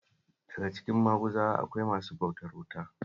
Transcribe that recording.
Daka cikin Maguzawa akwai masu bautar wuta